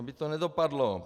Aby to nedopadlo.